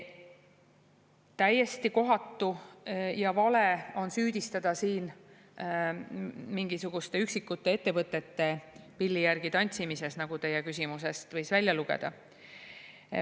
Täiesti kohatu ja vale on süüdistada siin mingisuguste üksikute ettevõtete pilli järgi tantsimises, nagu teie küsimusest võis välja lugeda.